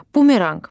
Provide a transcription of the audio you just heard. Bumeranq.